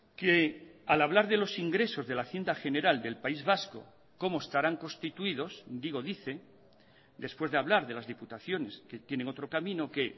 que al hablar de los ingresos de la hacienda general del país vasco como estarán constituidos digo dice después de hablar de las diputaciones que tienen otro camino que